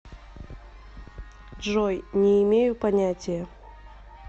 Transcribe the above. джой не имею понятия